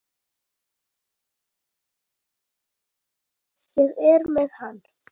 Ég er með hann.